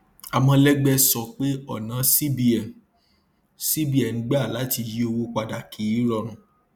amolegbe sọ pé ọnà cbn cbn gbà láti yí owó padà kì í rọrùn